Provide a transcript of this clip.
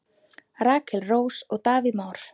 Rakel Rós og Davíð Már.